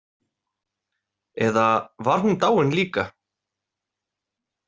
Eða var hún dáin líka?